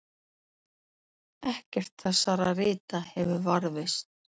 ekkert þessara rita hefur varðveist